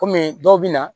Kɔmi dɔw bɛ na